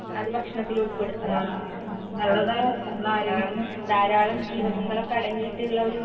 അത് ഭക്ഷണത്തിൽ ഉൾപെടുത്ത ധാരാളം ജീവകങ്ങളൊക്കെ അടങ്ങീട്ട് ഇള്ള ഒരു